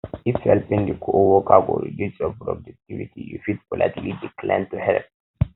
if helping di coworker go reduce your productivity you fit politely decline to help